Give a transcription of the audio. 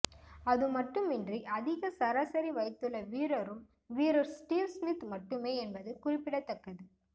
அதுமட்டுமின்றி அதிக சராசரி வைத்துள்ள வீரரும் வீரர் ஸ்டீவ் ஸ்மித் மட்டுமே என்பது குறிப்பிடத்தக்கது